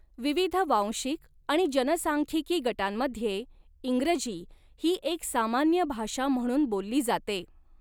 विविध वांशिक आणि जनसांख्यिकी गटांमध्ये, इंग्रजी ही एक सामान्य भाषा म्हणून बोलली जाते.